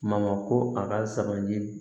Mamako a ka sabali